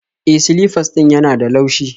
E, silifas ɗin yana da laushi